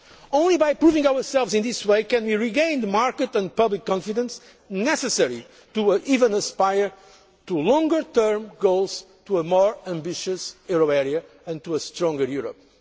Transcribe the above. Only by proving ourselves in this way can we regain the market and public confidence necessary to even aspire to longer term goals, to a more ambitious euro area and to a stronger